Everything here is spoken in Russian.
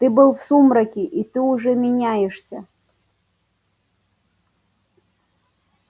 ты был в сумраке и ты уже меняешься